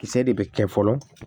Kisɛ de bɛ kɛ fɔlɔ